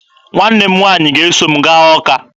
Nwa m nwaanyị ga-eso m gaa Ọka